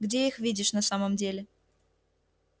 где их видишь на самом деле